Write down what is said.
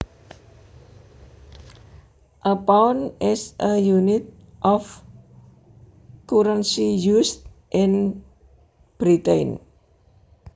A pound is a unit of currency used in Britain